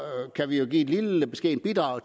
kan vi jo i et lille beskedent bidrag